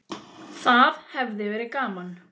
Það hefði verið gaman.